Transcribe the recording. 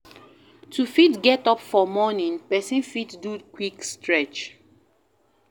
To fit get up for morning person fit do quick stretch